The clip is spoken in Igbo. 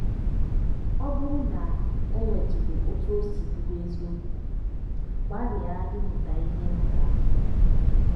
Ọ bụrụ na o nwetụrụ otú o si bụrụ eziokwu, gbalịa ịmụta ihe na ya.